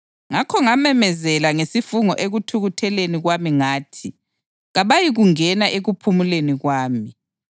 Ngakho ngamemezela ngesifungo ekuthukutheleni kwami ngathi, ‘Kabayikungena ekuphumuleni kwami.’ + 3.11 AmaHubo 95.7-11”